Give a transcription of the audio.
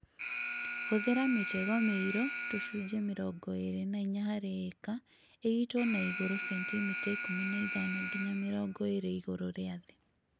Hũthĩra mĩtego mĩirũ - tũcunjĩ mĩrongo ĩĩrĩ na inya harĩ ĩka, ĩigĩtwo na igũrũ sentimita ikũmi na ithano nginya mirongo ĩĩrĩ igũrũ rĩa thĩ.